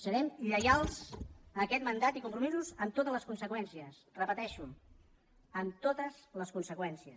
serem lleials a aquest mandat i compromisos amb totes les conseqüències ho repeteixo amb totes les conseqüències